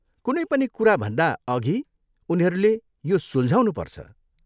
कुनै पनि कुराभन्दा अघि उनीहरूले यो सुल्झाउनुपर्छ।